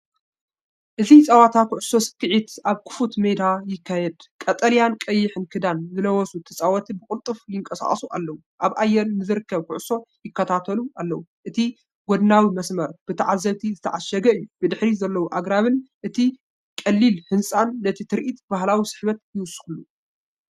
እዚ ጸወታ ኩዕሶ ሰኪዔት ኣብ ክፉት ሜዳ ይካየድ። ቀጠልያን ቀይሕን ክዳን ዝለበሱ ተጻወትቲ ብቕልጡፍ ይንቀሳቐሱ ኣለዉ፡ኣብ ኣየር ንዝርከብ ኩዕሶ ይከታተሉ ኣለዉ። እቲ ጎድናዊ መስመር ብተዓዘብቲ ዝተዓሸገ እዩ። ብድሕሪት ዘለዉ ኣግራብን እቲ ቀሊል ህንጻን ነቲ ትርኢት ብባህላዊ ስሕበት ይውስኸሉ።